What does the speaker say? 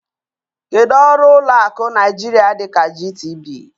Kedu ọrụ ụlọ akụ Naijiria dịka GTB?